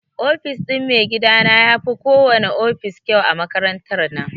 Ofis ɗin maigidana yafi ko wana ofis kyau a makarantar nan.